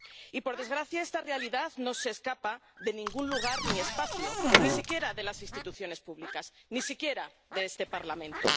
Y, por desgracia, esta realidad no se escapa de ningún lugar ni espacio, ni siquiera de las instituciones públicas, ni siquiera de este Parlamento.